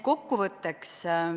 Kokkuvõtteks.